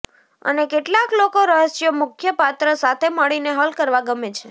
અને કેટલાક લોકો રહસ્યો મુખ્ય પાત્ર સાથે મળીને હલ કરવા ગમે છે